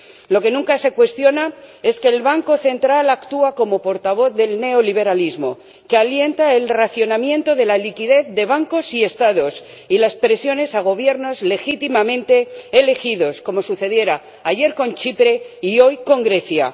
Lo que nunca se cuestiona es que el Banco Central actúa como portavoz del neoliberalismo, que alienta el racionamiento de la liquidez de bancos y Estados y las presiones a Gobiernos legítimamente elegidos, como sucediera ayer con Chipre y hoy con Grecia.